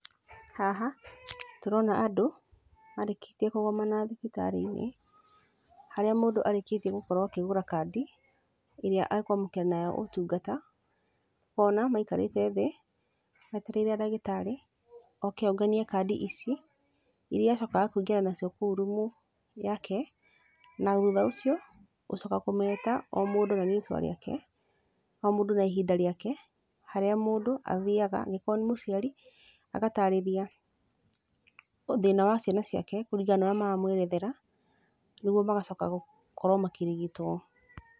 Haha tũrona andũ marĩkĩtie kũgomana thibitarĩ-inĩ, harĩa mũndũ arĩkĩtie gũkorwo akĩgũra kandi ĩrĩa ekwamũkĩra nayo ũtungata, kuona maikarĩte thĩ metereire ndagĩtarĩ oke onganie kandi ici, iria acokaga kũingĩra nacio kũu rumu yake, na thutha ũcio gũcoka kũmeta o mũndũ na rĩtwa rĩake, o mũndũ na ihinda rĩake, harĩa mũndũ athaiga, angĩkorwo nĩ mũciari, agatarĩria thĩna wa ciana ciake kũringana na ũrĩa maramwerethera nĩguo magacoka gũkorwo makĩrigitwo.